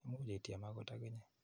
Imuch ityem akot akinye.